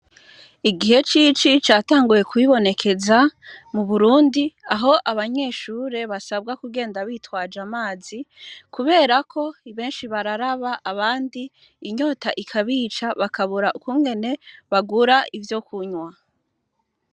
Igihe c'ici catanguye kwibonekeza mu Burundi aho abanyeshure basabwa kugenda bitwaje amazi kubera ko benshi bararaba abandi inyota ikabica bakabura ukungene bagura ivyo kunywa.